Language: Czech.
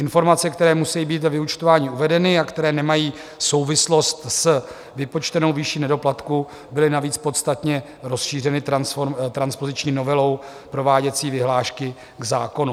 Informace, které musejí být ve vyúčtování uvedeny a které nemají souvislost s vypočtenou výši nedoplatku, byly navíc podstatně rozšířeny transpoziční novelou prováděcí vyhlášky k zákonu.